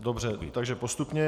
Dobře, takže postupně.